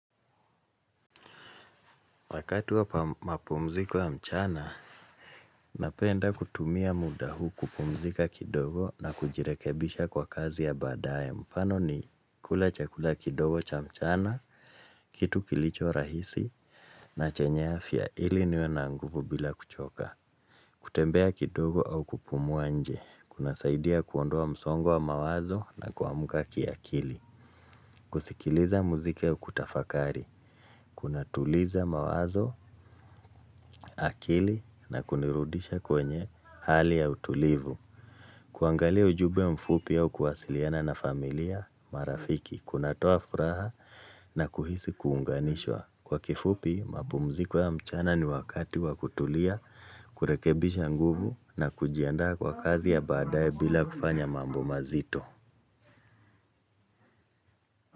Wakati wa mapumziko wa mchana, napenda kutumia muda huu kupumzika kidogo na kujirekebisha kwa kazi ya baadae. Mfano ni kula chakula kidogo cha mchana, kitu kilicho rahisi na chenye afya ili niwe na nguvu bila kuchoka. Kutembea kidogo au kupumua nje. Kunasaidia kuondoa msongo wa mawazo na kuamka kiakili. Kusikiliza muziki au kutafakari. Kun tuliza mawazo, akili na kunirudisha kwenye hali ya utulivu. Kuangalia ujumbe mfupi au kuwasiliana na familia marafiki. Kunatoa furaha na kuhisi kuunganishwa. Kwa kifupi, mapumziko ya mchana ni wakati wa kutulia, kurekebisha nguvu na kujiandaa kwa kazi ya baadae bila kufanya mambo mazito.